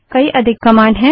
कई अधिक कमांड हैं